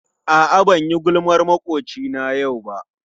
A'a banyi gulmar makwocina yau ba.